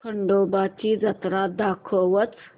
खंडोबा ची जत्रा दाखवच